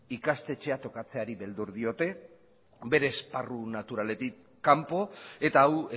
ikastetxea tokatzeari beldur diote bere esparru naturaletik kanpo eta hau